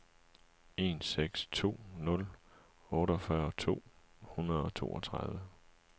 en seks to nul otteogfyrre to hundrede og toogtredive